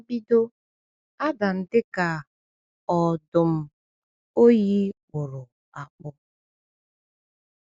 “N’mbido, Adam dị ka ọdụ̀m oyi kpụrụ akpụ.”